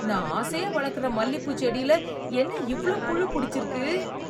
நான் ஆசையா வளர்க்கற மல்லிப்பூ செடியில என்ன இவ்ளோ புழு புடிச்சிருக்கு?